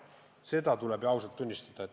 Seda tuleb ausalt tunnistada.